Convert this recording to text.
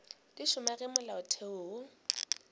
di šoma ge molaotheo wo